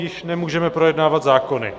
Již nemůžeme projednávat zákony.